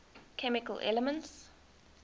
chemical elements